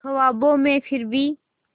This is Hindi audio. ख्वाबों में फिर भी